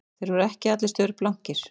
Þeir voru ekki allir staurblankir